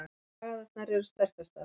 Slagæðarnar eru sterkastar.